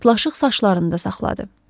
Pırtlaşıq saçlarında saxladı.